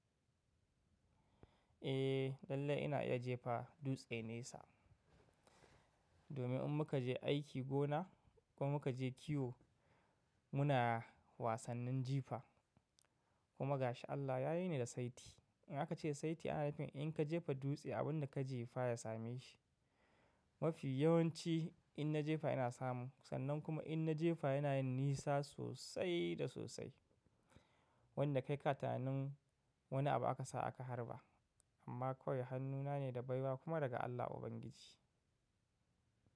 Eh lallai ina iya jefa dutse nesa. Domin in muka je aiki gona ko muka je kiwo muna wasannin jifa kuma gashi Allah ya yi ni da saiti. In aka ce saiti ana nufin in ka jefa dutse abin da ka jefa ya same shi. Mafi yawanci in na jefa ina samu sannan kuma in na jefa yana yin nisa sosai da sosai. Wanda kai ka tunanin wani abu aka sa aka harba. Amma kawai hannuna ne da baiwa kuma daga Allah ubangiji.